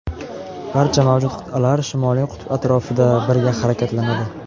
barcha mavjud qit’alar Shimoliy qutb atrofida birga harakatlanadi.